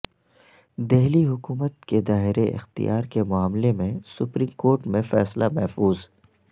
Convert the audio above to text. دہلی حکومت کے دائرہ اختیار کے معاملہ میں سپریم کورٹ میں فیصلہ محفوظ